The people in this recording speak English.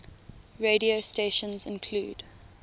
radio stations include